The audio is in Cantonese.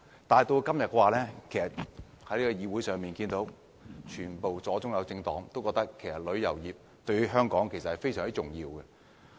但今天，議會中的左、中、右政黨都同意旅遊業對香港非常重要。